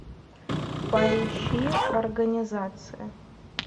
поищи организация